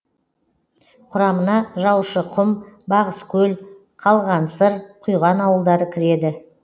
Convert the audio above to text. құрамына жаушықұм бағыскөл қалғансыр құйған ауылдары кіреді